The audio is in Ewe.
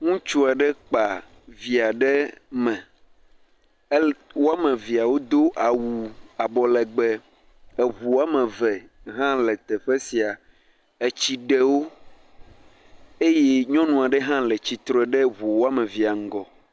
Ŋutsu aɖe kpa via ɖe me. Ele wo ame evea wodo awu abɔ legbe. Eŋu wɔme eve hã le teƒe sia etsi ɖe wo eye nyɔnu aɖe hã le tsitre ɖe eŋu wɔme evea ŋgɔ.